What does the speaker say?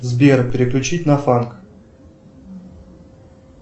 сбер переключить на фанк